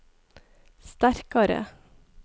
sterkare